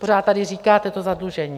Pořád tady říkáte: to zadlužení.